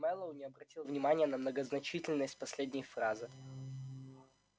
мэллоу не обратил внимания на многозначительность последней фразы